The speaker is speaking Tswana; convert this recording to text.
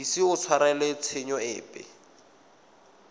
ise a tshwarelwe tshenyo epe